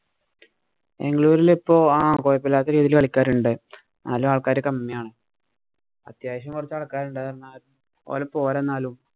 ബാംഗ്ലൂരില് ഇപ്പൊ ആഹ് കൊഴപ്പമില്ലാത്ത രീതിയില്‍ കളിക്കാര് ഉണ്ട്. എന്നാലും ആള്‍ക്കാര് കമ്മിയാണ്. അത്യാവശ്യം കൊറച്ച് ആള്‍ക്കാര് ഉണ്ട്. എന്നാലും ഓര് പോരാ എന്നാലും.